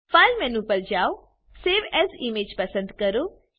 file menu પર જાઓ save as image પસંદ કરો